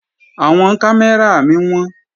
Àwọn kámẹ́rà mí wọ́n